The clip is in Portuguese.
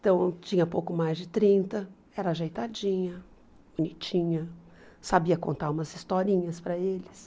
Então, eu tinha pouco mais de trinta, era ajeitadinha, bonitinha, sabia contar umas historinhas para eles.